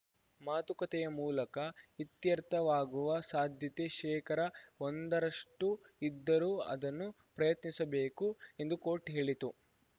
ಮಾತುಕತೆಯ ಮೂಲಕ ಇತ್ಯರ್ಥವಾಗುವ ಸಾಧ್ಯತೆ ಶೇಕರ ಒಂದರಷ್ಟು ಇದ್ದರೂ ಅದನ್ನು ಪ್ರಯತ್ನಿಸಬೇಕು ಎಂದು ಕೋರ್ಟ್‌ ಹೇಳಿತು